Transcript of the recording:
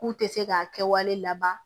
K'u tɛ se k'a kɛwale laban